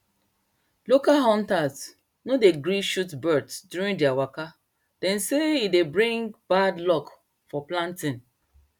local hunters no dey gree shot birds during their waka dem say e dey bring bad luck for planting